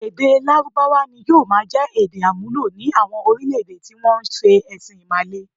Èdè Lárúbáwá ni yóò máa jẹ èdè-àmúlò ní àwọn orílẹ̀-èdè tí wọ́n ń se ẹ̀sìn Ìmàle.